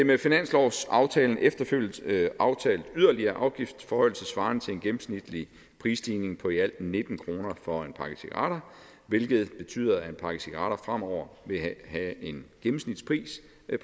med finanslovsaftalen efterfølgende aftalt en yderligere afgiftsforhøjelse svarende til en gennemsnitlig prisstigning på i alt nitten kroner for en pakke cigaretter hvilket betyder at en pakke cigaretter fremover vil have en gennemsnitspris